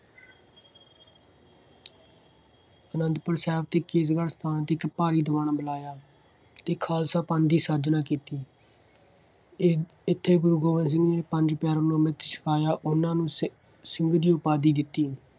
ਆਨੰਦਪੁਰ ਸਾਹਿਬ ਦੇ ਕੇਸਗੜ੍ਹ ਸਾਹਿਬ 'ਤੇ ਇੱਕ ਭਾਰੀ ਦੀਵਾਨ ਬੁਲਾਇਆ ਅਤੇ ਖਾਲਸਾ ਪੰਥ ਦੀ ਸਾਜਨਾ ਕੀਤੀ। ਇਹ ਇੱਥੇ ਗੁਰੂ ਗੋਬਿੰਦ ਸਿੰਘ ਨੇ ਪੰਜ ਪਿਆਰਿਆਂ ਨੂੰ ਅੰਮ੍ਰਿਤ ਛਕਾਇਆ। ਉਹਨਾ ਨੂੰ ਸਿੱ~ ਸਿੰਘ ਦੀ ਉਪਾਧੀ ਦਿੱਤੀ।